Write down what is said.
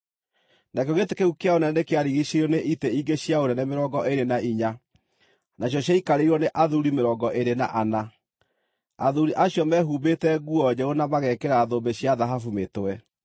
Nakĩo gĩtĩ kĩu kĩa ũnene nĩkĩarigiicĩirio nĩ itĩ ingĩ cia ũnene mĩrongo ĩĩrĩ na inya, nacio ciaikarĩirwo nĩ athuuri mĩrongo ĩĩrĩ na ana. Athuuri acio meehumbĩte nguo njerũ na magekĩra thũmbĩ cia thahabu mĩtwe.